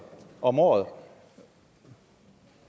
om året